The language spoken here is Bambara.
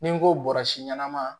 Ni n ko bɔrisi ɲɛnama